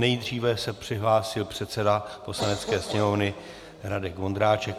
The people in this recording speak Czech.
Nejdříve se přihlásil předseda Poslanecké sněmovny Radek Vondráček.